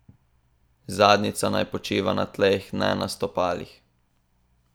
Zadnjica naj počiva na tleh, ne na stopalih.